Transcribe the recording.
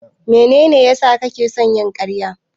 Mene ne ya sa kake da son yin karya?